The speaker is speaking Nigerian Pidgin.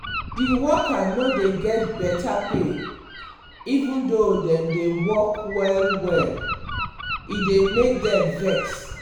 the worker no dey get better pay even though dem dey work well-well. e dey make dem vex.